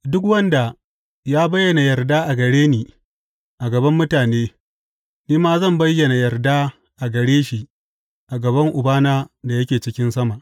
Duk wanda ya bayyana yarda a gare ni a gaban mutane, ni ma zan bayyana yarda a gare shi a gaban Ubana da yake cikin sama.